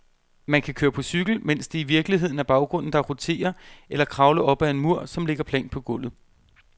Man kan køre på cykel, mens det i virkeligheden er baggrunden, der roterer, eller kravle op ad en mur, som ligger plant på gulvet.